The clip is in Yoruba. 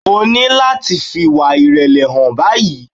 O ní láti fi ìwà ìrèlè hàn báyìí.